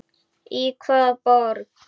Í hvaða borg?